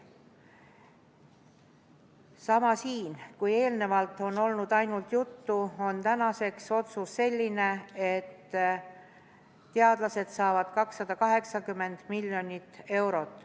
Sama ka siin, kui eelnevalt on sellest olnud ainult juttu, siis tänaseks on otsus selline, et teadlased saavad 280 miljonit eurot.